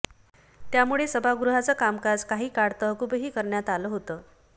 त्यामुळे सभागृहाचं कामकाज काही काळ तहकूबही करण्यात आलं होतं